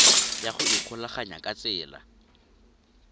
ya go ikgolaganya ka tsela